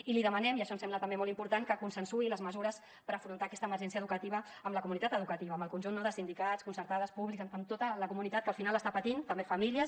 i li demanem i això ens sembla també molt important que consensuï les mesures per afrontar aquesta emergència educativa amb la comunitat educativa amb el conjunt no de sindicats concertades públiques amb tota la comunitat que al final està patint també famílies